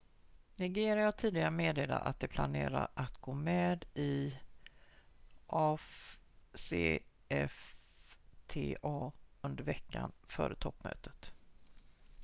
nigeria har tidigare meddelat att de planerar att gå med i afcfta under veckan före toppmötet